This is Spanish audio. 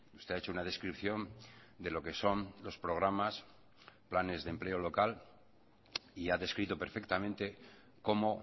usted ha hecho una descripción de lo que son los programas planes de empleo local y ha descrito perfectamente cómo